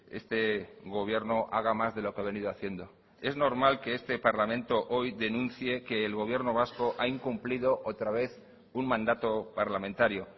este gobierno haga más de lo que ha venido haciendo es normal que este parlamento hoy denuncie que el gobierno vasco ha incumplido otra vez un mandato parlamentario